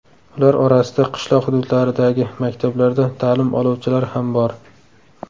Ular orasida qishloq hududlaridagi maktablarda ta’lim oluvchilar ham bor.